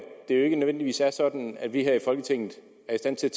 det ikke nødvendigvis er sådan at vi her i folketinget er i stand til